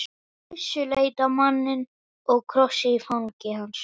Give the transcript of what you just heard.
Gissur leit á manninn og krossinn í fangi hans.